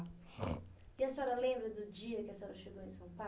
E a senhora lembra do dia que a senhora chegou em São Paulo?